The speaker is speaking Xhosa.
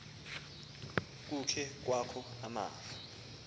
kukhe kwakho amafu